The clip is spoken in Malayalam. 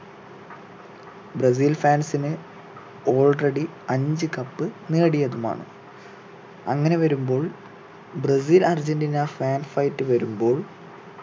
ബ്രസീൽ fans ന് already അഞ്ച് cup നേടിയതുമാണ് അങ്ങനെ വരുമ്പോൾ ബ്രസീൽ അർജന്റീന fan fight വരുമ്പോൾ